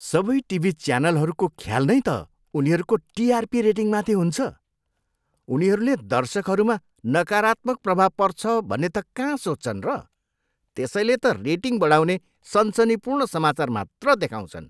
सबै टिभी च्यानलहरूको ख्याल नै त उनीहरूको टिआरपी रेटिङमाथि हुन्छ। उनीहरूले दर्शकहरूमा नकारात्मक प्रभाव पर्छ भन्ने त कहाँ सोच्छन् र? त्यसैले त रेटिङ बढाउने सनसनीपूर्ण समाचार मात्र देखाउँछन्।